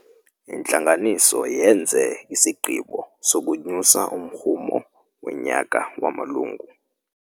Intlanganiso yenze isigqibo sokunyusa umrhumo wonyaka wamalungu.